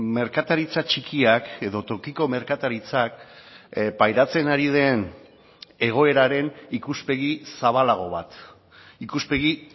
merkataritza txikiak edo tokiko merkataritzak pairatzen ari den egoeraren ikuspegi zabalago bat ikuspegi